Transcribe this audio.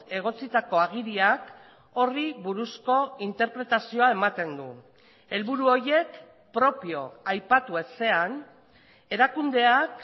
egotzitako agiriak horri buruzko interpretazioa ematen du helburu horiek propio aipatu ezean erakundeak